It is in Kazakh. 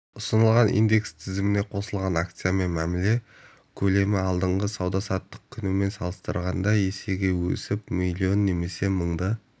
ұсынылған индекс тізіміне қосылған акциямен мәміле көлемі алдыңғы сауда-саттық күнімен салыстырғанда есеге өсіп млн немесе мыңды